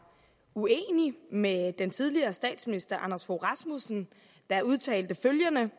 uenig med den tidligere statsminister anders fogh rasmussen der udtalte følgende